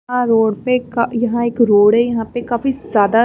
यहाँ रोड पे यहाँ एक रोड है यहाँ पे काफी ज्यादा--